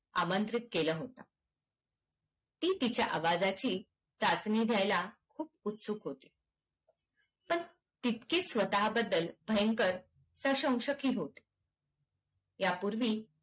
आमंत्रित केल होत ती तिच्या आवाजाची चाचणी द्यायला खूप उत्सुक होती पण तितकीच स्वताबद्दल भयंकर आणि संशयक पण होती ह्या पूर्वी